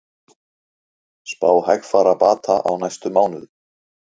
Svokölluð blæðing á sér stað þegar tjaran bráðnar og leitar upp úr klæðingunni.